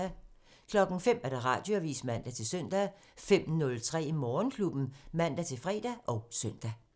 05:00: Radioavisen (man-søn) 05:03: Morgenklubben (man-fre og søn)